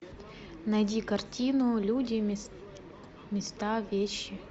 найди картину люди места вещи